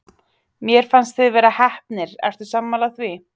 Mér fannst þið vera heppnir, ertu sammála því?